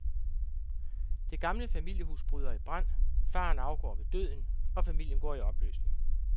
Det gamle familiehus bryder i brand, faderen afgår ved døden, og familien går i opløsning.